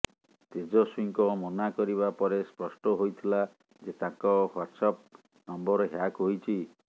ତେଜସ୍ୱୀଙ୍କ ମନା କରିବା ପରେ ସ୍ପଷ୍ଟ ହୋଇଥିଲା ଯେ ତାଙ୍କ ହ୍ୱାଟ୍ସଆପ୍ ନମ୍ବର ହ୍ୟାକ୍ ହୋଇଛି